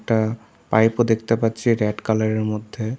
একটা পাইপ -ও দেখতে পাচ্ছি রেড কালার -এর মধ্যে।